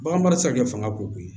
Bagan mara ti se ka kɛ fanga ko ye